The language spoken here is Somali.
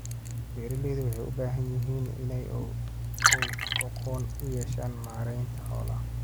Beeraleydu waxay u baahan yihiin inay aqoon u yeeshaan maareynta xoolaha.